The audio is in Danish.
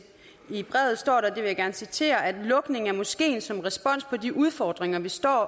jeg citerer at lukning af moskeen som respons på de udfordringer vi står